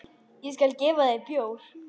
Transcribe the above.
Ég skal gefa þér bjór.